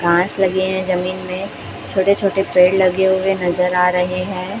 बांस लगे हैं जमीन में छोटे छोटे पेड़ लगे हुए नजर आ रहे हैं।